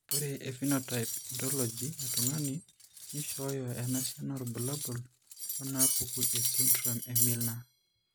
Ore ephenotype ontology etung'ani neishooyo enasiana oorbulabul onaapuku esindirom eMiller.